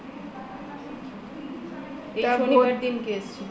এই শনিবার দিনকে এসছি